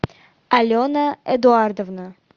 алена эдуардовна